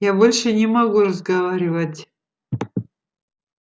я больше не могу разговаривать